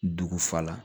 Dugu fa la